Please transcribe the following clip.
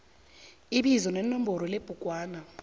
ibizo nenomboro yebhugwana